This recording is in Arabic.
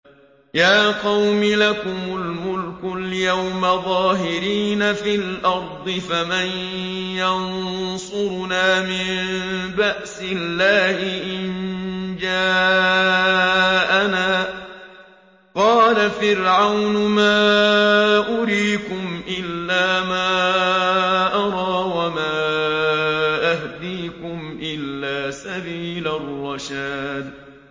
يَا قَوْمِ لَكُمُ الْمُلْكُ الْيَوْمَ ظَاهِرِينَ فِي الْأَرْضِ فَمَن يَنصُرُنَا مِن بَأْسِ اللَّهِ إِن جَاءَنَا ۚ قَالَ فِرْعَوْنُ مَا أُرِيكُمْ إِلَّا مَا أَرَىٰ وَمَا أَهْدِيكُمْ إِلَّا سَبِيلَ الرَّشَادِ